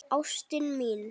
Ástin mín.